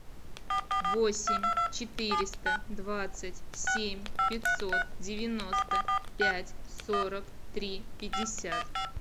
восемь четыреста двадцать семь пятьсот девяносто пять сорок три пятьдесят